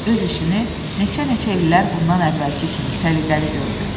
Balta da öz işini neçə-neçə illər bundan əvvəlki kimi səliqəli gördü.